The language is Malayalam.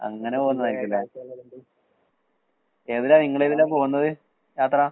അങ്ങനെ പോകുന്നതായിരിക്കുംല്ലേ? ഏതിലാ നിങ്ങളേതിലാ പോകുന്നത് യാത്ര?